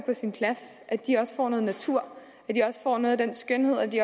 på sin plads at de også får noget natur at de også får noget af den skønhed og at de